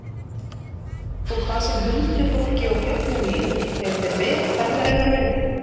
Og hvað sem huldufólki og fjöllum líður eru þeir vel ferðarinnar virði.